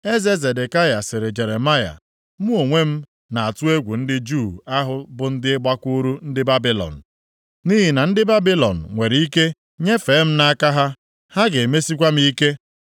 Eze Zedekaya sịrị Jeremaya, “Mụ onwe m na-atụ egwu ndị Juu ahụ bụ ndị gbakwuru ndị Babilọn, nʼihi na ndị Babilọn nwere ike nyefee m nʼaka ha, ha ga-emesikwa m ike.”